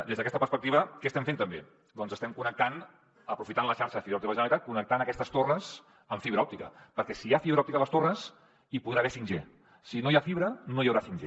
des d’aquesta perspectiva què estem fent també doncs aprofitant la xarxa de fibra òptica de la generalitat estem connectant aquestes torres amb fibra òptica perquè si hi ha fibra òptica a les torres hi podrà haver 5g si no hi ha fibra no hi haurà 5g